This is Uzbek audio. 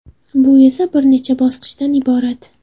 Bu esa bir necha bosqichdan iborat.